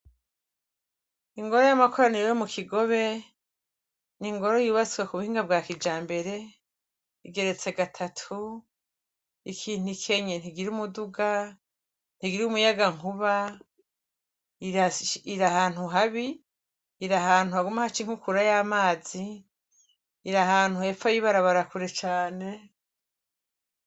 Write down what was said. Ingoro y'amakoraniro yo mu Kigobe, n'ingoro yubatswe k'ubuhinga bwa kijambere ; igeretse gatatu. Ikintu ikenye ntigira umuduga, ntigira umuyagankuba, iri ahantu habi, iri ahantu haguma haca inkukura y'amazi, iri ahantu hepfo y'ibarabara kure cane.